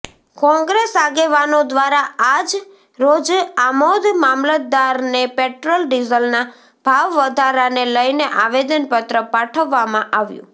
કોંગ્રેસ આગેવાનો દ્વારા આજ રોજ આમોદ મામલતદારને પેટ્રોલ ડીઝલના ભાવ વધારાને લઈને આવેદનપત્ર પાઠવવામાં આવ્યું